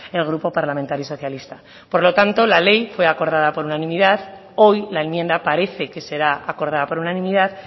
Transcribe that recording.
el grupo parlamentario socialista por lo tanto la ley fue acordada por unanimidad hoy la enmienda parece que será acordada por unanimidad